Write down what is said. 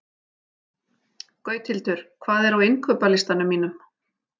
Gauthildur, hvað er á innkaupalistanum mínum?